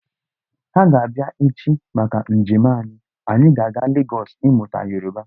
Ha ga-abịa echi maka njem anyị, anyị ga-aga Legọs ímụtá Yoruba